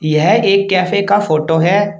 यह एक कैफे का फोटो है।